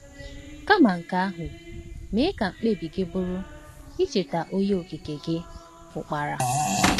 Kama nke ahụ, mee ka mkpebi gị bụrụ icheta Onye Okike gị Ukpara.